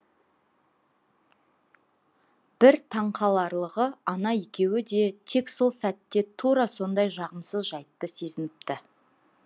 бір таңқаларлығы ана екеуі де тек сол сәтте тура осындай жағымсыз жайтты сезініпті